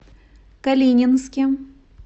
калининске